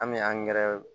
An bɛ